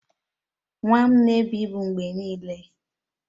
Nwa m na-ebu ibu mgbe niile.